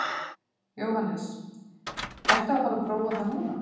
Jóhannes: Ertu að fara að prófa það núna?